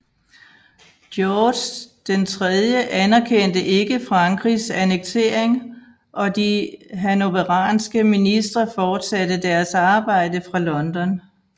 George III anerkendte ikke Frankrigs annektering og de hannoveranske ministre fortsatte deresarbejde fra London